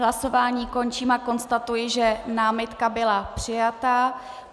Hlasováním končím a konstatuji, že námitka byla přijata.